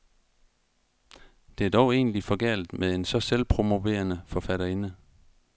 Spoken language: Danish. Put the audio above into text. Det er dog egentlig for galt med en så selvpromoverende forfatterinde.